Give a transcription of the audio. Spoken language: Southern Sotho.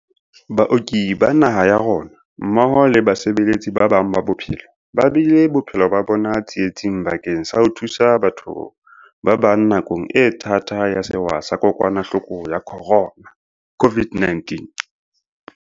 Baoki ba naha ya rona, mmoho le basebeletsi ba bang ba bophelo, ba beile bophelo ba bona tsi etsing bakeng sa ho thusa batho ba bang nakong e thata ya sewa sa Kokwanahloko ya Corona COVID-19.